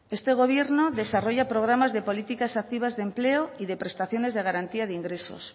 este gobierno desarrolla programas de políticas activas de empleo y de prestaciones de garantía de ingresos